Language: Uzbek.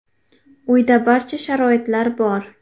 Uyda barcha sharoitlar bor.